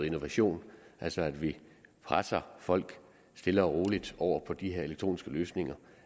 innovation altså at vi presser folk stille og roligt over på de her elektroniske løsninger